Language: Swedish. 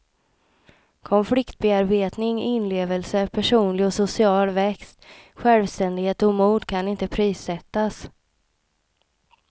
Konfliktbearbetning, inlevelse, personlig och social växt, självständighet och mod kan inte prissättas.